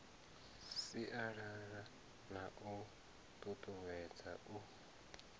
sialala na u tutuwedza u